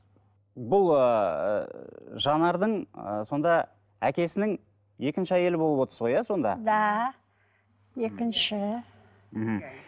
бұл ыыы жанардың ы сонда әкесінің екінші әйелі болып отырсыз ғой сондай да екінші мхм